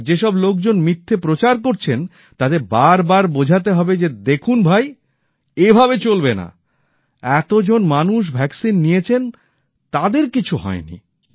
আর যেসব লোকজন মিথ্যে প্রচার করছেন তাদের বারবার বোঝাতে হবে যে দেখুন ভাই এভাবে চলবে না এত জন মানুষ টিকা নিয়েছেন তাদের কিছু হয়নি